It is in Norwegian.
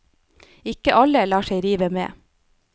Ikke alle lar seg rive med.